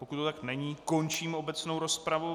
Pokud to tak není, končím obecnou rozpravu.